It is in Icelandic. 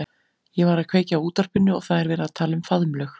Ég var að kveikja á útvarpinu og það er verið að tala um faðmlög.